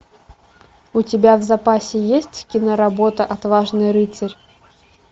у тебя в запасе есть киноработа отважный рыцарь